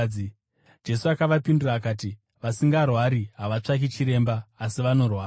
Jesu akavapindura akati, “Vasingarwari havatsvaki chiremba, asi vanorwara.